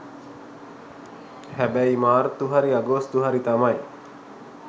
හැබැයි මාර්තු හරි අගෝස්තු හරි තමයි